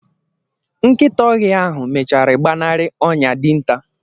nkịta ọhịa ahụ mechara gbanarị ọnyà dinta